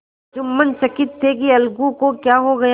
जुम्मन चकित थे कि अलगू को क्या हो गया